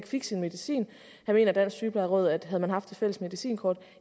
fik sin medicin mener dansk sygeplejeråd at havde man haft det fælles medicinkort